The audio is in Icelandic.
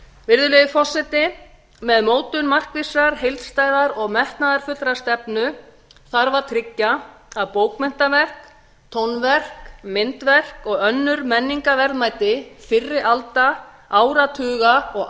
virðulegi forseti með mótun markvissrar heildstæðrar og metnaðarfullrar stefnu þarf að tryggja að bókmenntaverk tónverk myndverk og önnur menningarverðmæti fyrri alda áratuga og